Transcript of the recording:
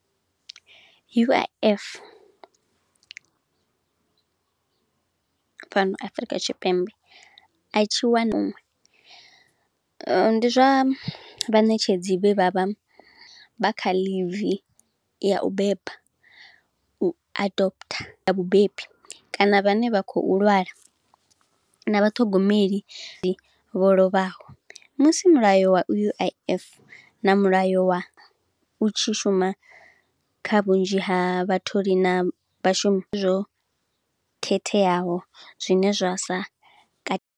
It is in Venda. U_I_F, fhano Afurika Tshipembe a tshi wani muṅwe, ndi zwa vhaṋetshedzi vhe vha vha, vha kha leave ya u beba u adopt ya vhubebi kana vhane vha khou lwala, na vhaṱhogomeli vho lovhaho. Musi mulayo wa U_I_F na mulayo wa, u tshi shuma kha vhunzhi ha vhatholi na vhashumi, zwo khetheaho zwine zwa sa kate.